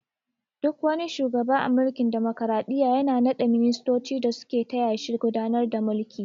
Duk wani shugawa a mulkin damokaraɗiyya yana na ɗa ministoci da su ke taya shi gudanar da mulki